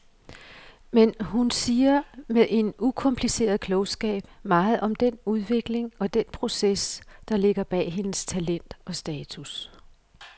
Men hun siger med en ukompliceret klogskab meget om den udvikling og den proces, der ligger bag hendes talent og status.